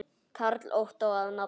Karl Ottó að nafni.